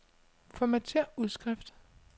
Formatér udskrift.